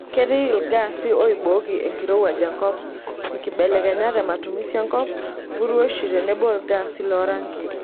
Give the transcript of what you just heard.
Ketii ilgas oibooki enkorowuaj enkop, nkibelekenyat ematumisi enkop, mpuruoishi tenebo ilgaasi lorangi.